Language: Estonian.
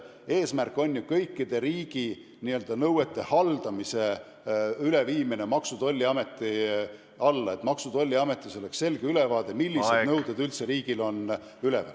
Eesmärk on viia kõikide riigi nõuete haldamine Maksu- ja Tolliametisse, et oleks selge ülevaade, millised nõuded riigil üldse üleval on.